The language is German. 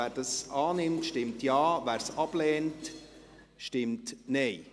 Wer die Ziffer 1 annimmt, stimmt Ja, wer diese ablehnt stimmt Nein.